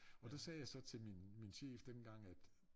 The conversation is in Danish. Og der sagde jeg så til min min chef dengang at